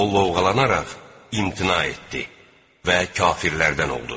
O lovğalanaraq imtina etdi və kafirlərdən oldu.